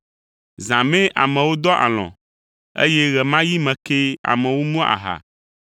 Zã mee amewo dɔa alɔ̃, eye ɣe ma ɣi me kee amewo mua aha.